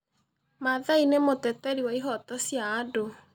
Mathai nĩ mũteteri wa ihooto cia andũ.